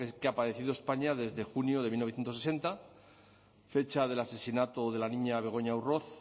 que ha padecido españa desde junio de mil novecientos sesenta fecha del asesinato de la niña begoña urroz